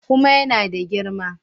Kuma ya na da girma.